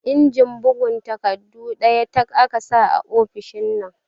Injin bugs takardu ɗaya tak aka sa a ofishin nan